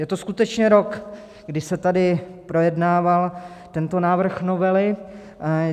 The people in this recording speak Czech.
Je to skutečně rok, kdy se tady projednával tento návrh novely.